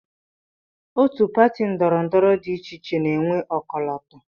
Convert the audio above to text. Otu pati ndọrọndọrọ dị iche iche na-enwe ọkọlọtọ